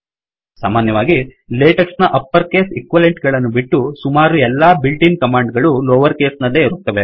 ಸಾಮಾನ್ಯವಾಗಿ ಲೇಟೆಕ್ಸ್ ನ upper case equivalent ಗಳನ್ನು ಬಿಟ್ಟು ಸುಮಾರುಎಲ್ಲಾ ಬಿಳ್ಟ್ ಇನ್ ಕಮಾಂಡ್ ಗಳು ಲೋವರ್ ಕೇಸ್ ನಲ್ಲೇ ಇರುತ್ತವೆ